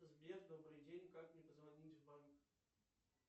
сбер добрый день как мне позвонить в банк